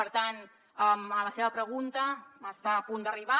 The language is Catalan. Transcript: per tant a la seva pregunta està a punt d’arribar